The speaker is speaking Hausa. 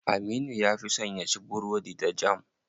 Aminu ya fi son yaci burodi da jam.